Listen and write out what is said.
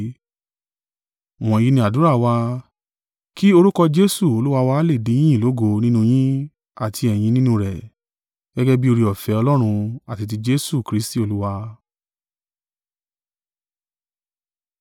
Wọ̀nyí ni àdúrà wa, kí orúkọ Jesu Olúwa wa lè di yíyìn lógo nínú yín àti ẹ̀yin nínú rẹ̀, gẹ́gẹ́ bí oore-ọ̀fẹ́ Ọlọ́run àti ti Jesu Kristi Olúwa.